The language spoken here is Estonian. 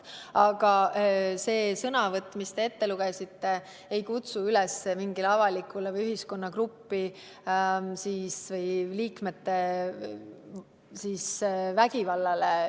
Aga see sõnavõtt, mille te ette lugesite, ei kutsu üles mingile avalikule või ühiskonnagrupi liikmete vastu suunatud vägivallale.